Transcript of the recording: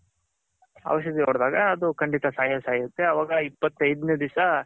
ಔಷದಿ ಹೊಡೆದಾಗ ಅದು ಖಂಡಿತ ಸಾಯೇ ಸಾಯುತ್ತೆ ಅವಾಗ ಇಪ್ಪತೈದ್ನೆ ದಿಸ